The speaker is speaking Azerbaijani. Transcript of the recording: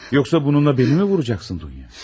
Yoxsa bununla məni mi vuracaqsan, Dunya?